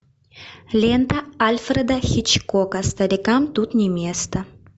лента альфреда хичкока старикам тут не место